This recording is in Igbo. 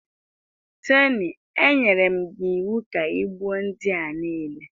Tony, anyere m gị iwu ka i gbuo ndị a niile